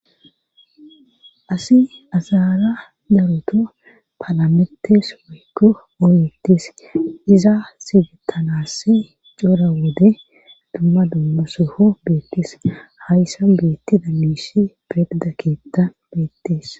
asi asara daropa paalametes woykko oyettes iza sidettanassi cora wode dumma dummaseho beettes hayssan beetti dammishi perda keetta beettes